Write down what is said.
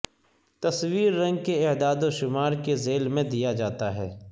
تصویر رنگ کے اعداد و شمار کے ذیل میں دیا جاتا ہے